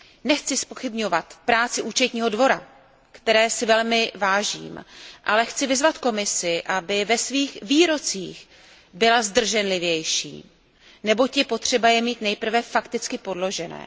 Nechci zpochybňovat práci Účetního dvora, které si velmi vážím, ale chci vyzvat Komisi, aby ve svých výrocích byla zdrženlivější, neboť je potřeba je mít nejprve fakticky podložené.